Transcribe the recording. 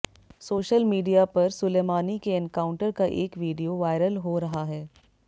social media पर Soleimani के encounter का एक वीडियो वायरल हो रहा है